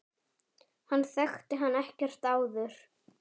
Hann þekkti hann ekkert áður.